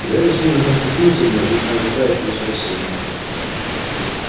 гарри судорожно вцепился в неё точно ожидая от неё спасения